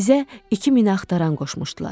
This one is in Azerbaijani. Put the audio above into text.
Bizə iki minaxtaran qoşmuşdular.